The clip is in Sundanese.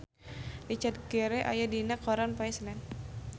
Richard Gere aya dina koran poe Senen